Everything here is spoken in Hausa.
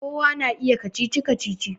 Kowa na iya wasan kacici-kacici